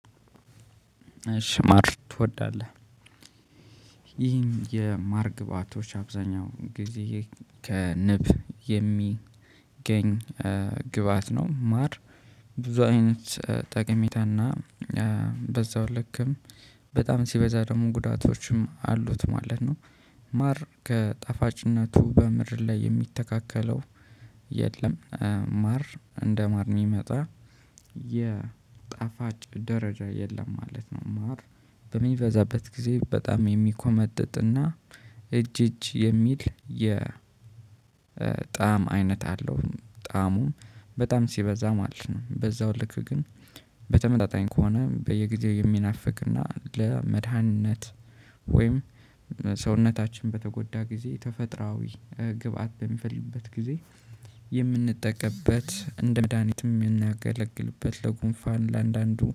እሺ ማር ትወዳለህ? ይህን የማር ግባቶች አብዛኛው ጊዜ ከንብ የሚገኝ ግብአት ነው ማር ብዙ አይነት ጠቅሜታና በዛው ልክም በጣም ሲበዛ ደግሞ ጉዳቶችም አሉት ማለት ነው። ማር ከጠፋጭነቱ በምድር ላይ የሚተካከለው የለም። ማር እንደ ማር የሚመጣ የጣፋጭ ደረጃ የለም ማለት ነው። ማር በሚበዛበት ጊዜ በጣም የሚኮመጥጥና እጅ እጅ የሚል የጣዕም አይነት አለው። ጣዕሙ በጣም ሲበዛ ማለት ነው። በዛው ልክ ግን በተመጣጣኝ ከሆነ በየጊዜው የሚናፍቅና ለመድኃኒነት ወይም ሰውነታችን በተጎዳ ጊዜ ተፈጥራዊ ግብአት በሚፈልግበት ጊዜ የምንጠቀምበት እንደ መድሃኒትም የምናገለግልበት ለጉንፋን ለአንዳንዱ